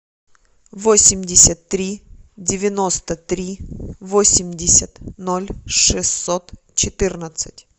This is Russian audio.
восемьдесят три девяносто три восемьдесят ноль шестьсот четырнадцать